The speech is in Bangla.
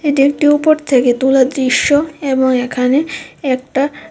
এটা একটি ওপর থেকে তোলা দৃশ্য এবং এখানে একটা--